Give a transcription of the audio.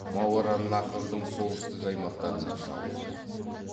мауараннахрдың солтүстік аймақтарына шабуылдайды